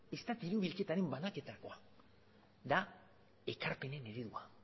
ez da diru bilketaren banaketakoa da ekarpenen eredua